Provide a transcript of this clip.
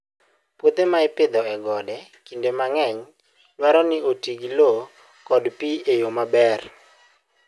Puothe ma ipidho e gode, kinde mang'eny dwaro ni oti gi lowo kod pi e yo maber.